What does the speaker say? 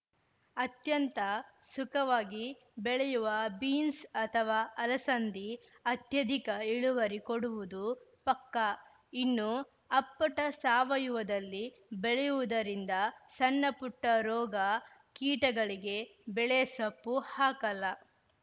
ಅತ್ಯಂತ ಸುಖವಾಗಿ ಬೆಳೆಯುವ ಬೀನ್ಸ್‌ ಅಥವಾ ಅಲಸಂದಿ ಅತ್ಯಧಿಕ ಇಳುವರಿ ಕೊಡುವುದು ಪಕ್ಕಾ ಇನ್ನು ಅಪ್ಪಟ ಸಾವಯುವದಲ್ಲಿ ಬೆಳೆಯುವುದರಿಂದ ಸಣ್ಣಪುಟ್ಟರೋಗ ಕೀಟಗಳಿಗೆ ಬೆಳೆ ಸೊಪ್ಪು ಹಾಕಲ್ಲ